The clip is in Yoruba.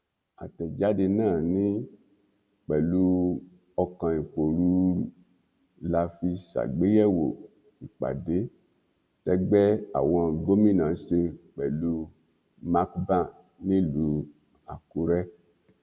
àtẹjáde náà ní pẹlú ọkàn ìpòrúurú la fi ṣàgbéyẹwò ìpàdé tẹgbẹ àwọn gómìnà ṣe pẹlú macban nílùú àkúrẹ